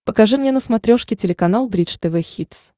покажи мне на смотрешке телеканал бридж тв хитс